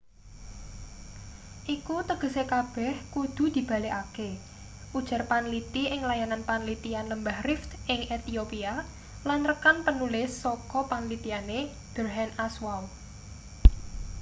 iku tegese kabeh kudu dibalekake ujar panliti ing layanan panlitian lembah rift ing ethiopia lan rekan penulis saka panlitiane berhane asfaw